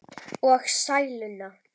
Og sæluna.